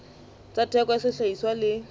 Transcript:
tsa theko ya sehlahiswa le